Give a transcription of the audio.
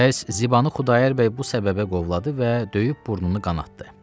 Bəs, Zibanı Xudayar bəy bu səbəbə qovladı və döyüb burnunu qanatdı.